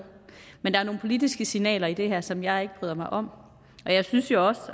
men der er nogle politiske signaler i det her som jeg ikke bryder mig om og jeg synes jo også